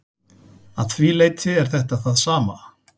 Að því leyti er þetta það sama.